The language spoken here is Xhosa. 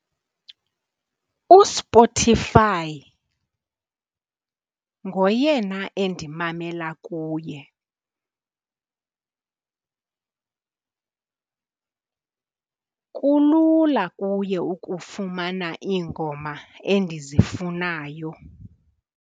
USpotify ngoyena endimamela kuye kulula kuye ukufumana iingoma endizifunayo.